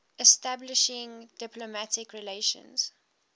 establishing diplomatic relations